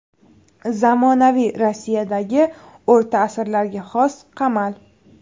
Zamonaviy Rossiyadagi o‘rta asrlarga xos qamal.